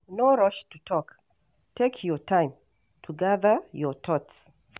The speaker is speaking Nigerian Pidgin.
No rush to talk, take your time to gather your thoughts.